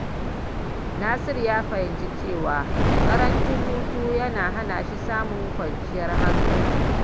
Nasiru ya fahimci cewa ƙarancin hutu yana hana shi samun kwanciyar hankali.